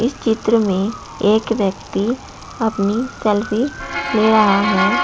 इस चित्र में एक व्यक्ति अपनी सेल्फ़ी ले रहा है।